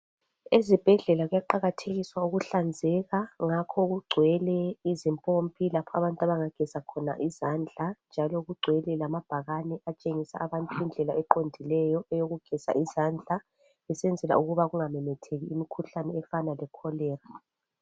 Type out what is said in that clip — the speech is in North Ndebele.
ezibhedlela kuyaqakathekiswa ukuhlanzeka ngakho kugcwele izimpompi lapho abantu abangageza khona izandla njalo kugcwele lamabhakane atshengisa abantu indlela eqndileyo eyokugeza izandla kusenzelwa ukuthi kungamemetheki imikhuhlane efana le Cholera